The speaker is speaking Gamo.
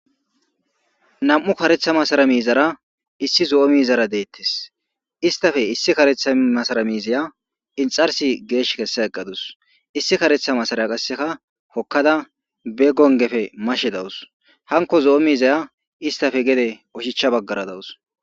Nam'u karetha masara miizara issi zo'o miizara deettes istafe issi karetha masara miizaya inxarsi geesh kessa eqqadus issi karetha masaraya qasseka hokkada be gongefe mashe dawus hanko zo'o miizaya istafe gede oshicha baggara dawus